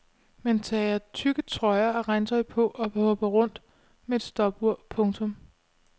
Man tager tykke trøjer og regntøj på og hopper rundt med et stopur. punktum